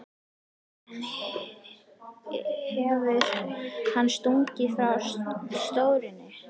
En hefur hann stuðning frá stjórninni?